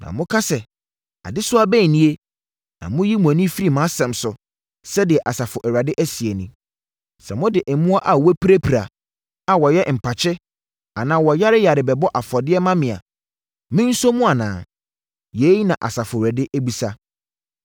Na moka sɛ adesoa bɛn nie, na moyi mo ani firi mʼasɛm so,” sɛdeɛ Asafo Awurade seɛ nie. “Sɛ mode mmoa a wɔapirapira, a wɔyɛ mpakye anaa wɔyareyare bɛbɔ afɔdeɛ ma me a, me nsɔ mu anaa?” Yei na Awurade bisa.